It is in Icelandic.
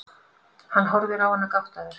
Hann horfir á hana gáttaður.